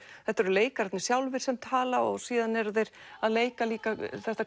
þetta eru leikararnir sjálfir sem tala og síðan eru þeir að leika líka þetta